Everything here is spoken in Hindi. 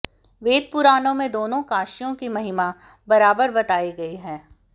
वेद पुराणों में दोनों काशियों की महिमा बराबर बताई गई है